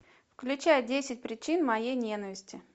включай десять причин моей ненависти